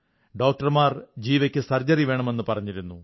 ഡോക്ടർമാർ ജീവയ്ക്ക് സർജറി വേണമെന്നു പറഞ്ഞിരുന്നു